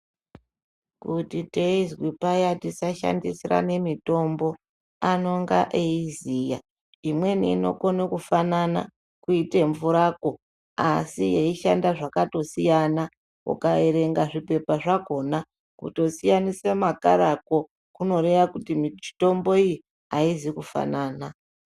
Kuti teizi paya tisashandisirana mitombo anonga eiziya, imweni imokona kufanana kuita mvurako asi yeishanda zvakatosiyana ikatarisa, ukaerenga zvipepa zvakhona kutosiyanise makharako kunoreva kuti mitombo iyi aizi kufanana.